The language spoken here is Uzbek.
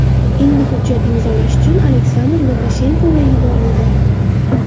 Endi hujjat imzolash uchun Aleksandr Lukashenkoga yuborildi.